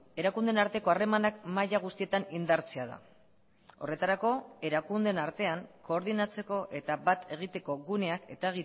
erakundeen arteko harremanak maila guztietan indartzea da horretarako erakundeen artean koordinatzeko eta bat egiteko guneak eta